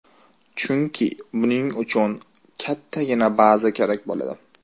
Chunki buning uchun kattagina baza kerak bo‘ladi.